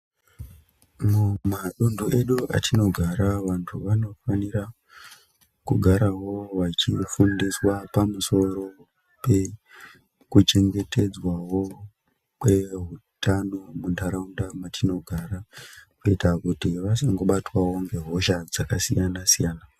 Mumaduntu edu mwatinogara vantu vanofanira kugara vachifundiswa pamusoro pekuchengetedzwawo kwehutano hwemuntaraunda mwatinogora kuti vasangobatwawo ngehoshq dzakasiyana siyana.